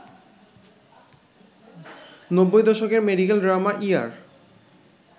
নব্বই দশকের medical drama ER